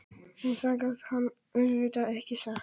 En það gat hann auðvitað ekki sagt.